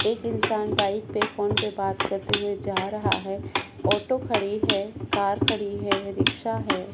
एक इंसान बाइक पर फोन पर बात करते हुए जा रहा है ऑटो खड़ी है कार खड़ी है रिक्षा है।